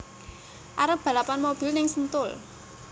Arep balapan mobil ning Sentul